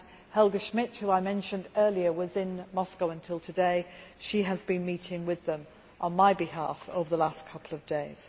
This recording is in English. Helga Schmidt, whom I mentioned earlier, was in Moscow until today, and has been meeting with them on my behalf over the last couple of days.